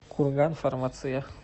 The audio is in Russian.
курганфармация